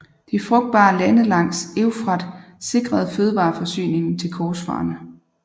De frugtbare lande langs Eufrat sikrede fødevareforsyningen til korsfarerne